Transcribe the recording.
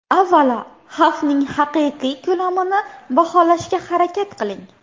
Avvalo, xavfning haqiqiy ko‘lamini baholashga harakat qiling.